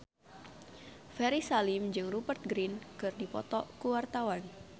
Ferry Salim jeung Rupert Grin keur dipoto ku wartawan